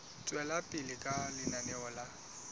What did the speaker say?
tswela pele ka lenaneo la